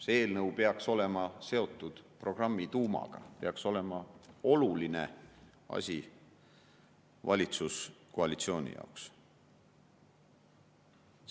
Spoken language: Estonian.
See eelnõu peaks olema seotud programmi tuumaga, peaks olema oluline asi valitsuskoalitsiooni jaoks.